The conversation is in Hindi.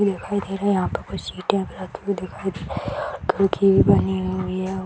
दिखाई दे रहा है यहाँ पर कुछ दिखाई दे रहा है खिड़की भी बनी हुई है।